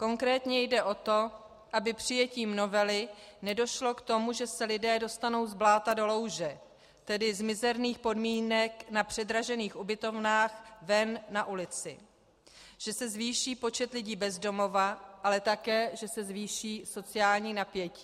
Konkrétně jde o to, aby přijetím novely nedošlo k tomu, že se lidé dostanou z bláta do louže, tedy z mizerných podmínek na předražených ubytovnách ven na ulici, že se zvýší počet lidí bez domova, ale také že se zvýší sociální napětí.